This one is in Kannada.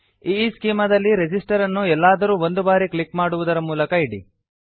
ಈಸ್ಚೆಮಾ ದಲ್ಲಿ ರೆಸಿಸ್ಟರ್ ಅನ್ನು ಎಲ್ಲಾದರೂ ಒಂದು ಬಾರಿ ಕ್ಲಿಕ್ ಮಾಡುವುದರ ಮೂಲಕ ಇಡಿ